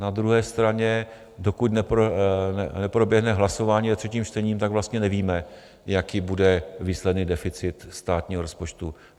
Na druhé straně, dokud neproběhne hlasování o třetím čtení, tak vlastně nevíme, jaký bude výsledný deficit státního rozpočtu.